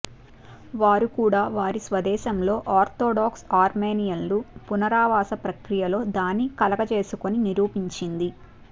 వారు కూడా వారి స్వదేశంలో ఆర్థోడాక్స్ అర్మేనియన్లు పునరావాసం ప్రక్రియలో దాని కలుగజేసుకొని నిరూపించింది